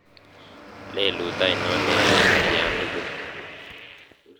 lelut ainon neyoe atyan tugul